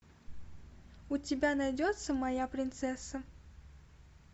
у тебя найдется моя принцесса